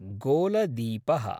गोलदीपः